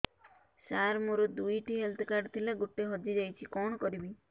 ସାର ମୋର ଦୁଇ ଟି ହେଲ୍ଥ କାର୍ଡ ଥିଲା ଗୋଟେ ହଜିଯାଇଛି କଣ କରିବି